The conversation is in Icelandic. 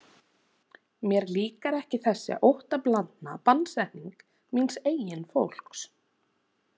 Mér líkar ekki þessi óttablandna bannsetning míns eigin fólks.